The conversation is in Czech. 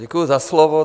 Děkuji za slovo.